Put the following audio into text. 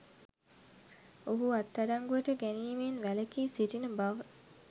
ඔහු අත්අඩංගුවට ගැනීමෙන් වැළකී සිටින බව